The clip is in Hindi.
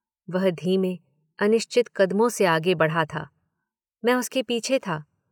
वह धीमे, अनिश्चित कदमों से आगे बढ़ा था। मैं उसके पीछे था